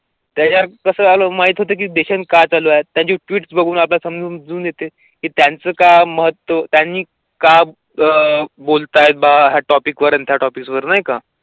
त्याच्या कसं माहित होते की काढल्याचे ट्विटस बघून आपण समजून येते की त्यांचं काम महत्त्वा त्यांनी का अं बोलतो आहे हा टॉपिक वरुण त्या टॉपिकवरुण नाही का?